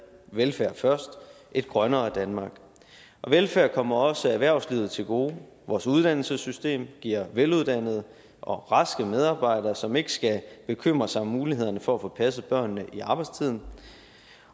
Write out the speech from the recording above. velfærd først og et grønnere danmark og velfærd kommer også erhvervslivet til gode vores uddannelsessystem giver veluddannede og raske medarbejdere som ikke skal bekymre sig om muligheden for at få passet børnene i arbejdstiden